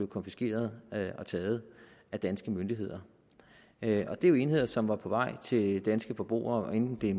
konfiskeret og taget af danske myndigheder det er jo enheder som var på vej til danske forbrugere hvad enten det